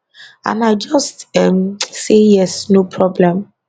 and i just um say yes no problem